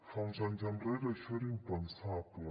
fa uns anys enrere això era impensable